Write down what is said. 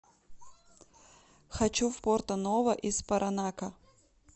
хочу в порто ново из паранака